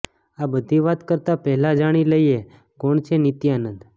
આ બધી વાત કરતાં પહેલાં જાણી લઈએ કોણ છે નિત્યાનંદ